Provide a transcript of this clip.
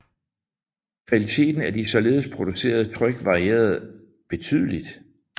Kvaliteten af de således producerede tryk varierede betydeligt